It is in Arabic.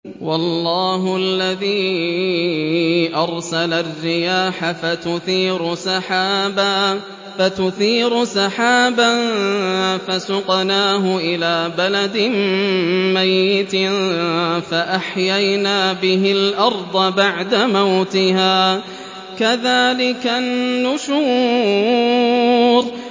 وَاللَّهُ الَّذِي أَرْسَلَ الرِّيَاحَ فَتُثِيرُ سَحَابًا فَسُقْنَاهُ إِلَىٰ بَلَدٍ مَّيِّتٍ فَأَحْيَيْنَا بِهِ الْأَرْضَ بَعْدَ مَوْتِهَا ۚ كَذَٰلِكَ النُّشُورُ